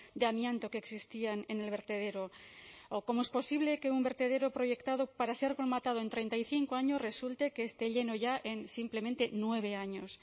de amianto que existían en el vertedero o cómo es posible que un vertedero proyectado para ser cromatado en treinta y cinco años resulte que esté lleno ya en simplemente nueve años